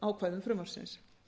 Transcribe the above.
ákvæðum frumvarpsins